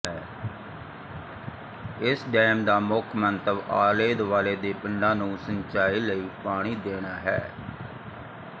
ਇਸ ਡੈਮ ਦਾ ਮੁੱਖ ਮੰਤਵ ਆਲੇ ਦੁਆਲੇ ਦੇ ਪਿੰਡਾਂ ਨੂੰ ਸਿੰਚਾਈ ਲਈ ਪਾਣੀ ਦੇਣਾ ਹੈ